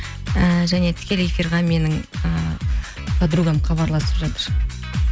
і және тікелей эфирге менің і подругам хабарласып жатыр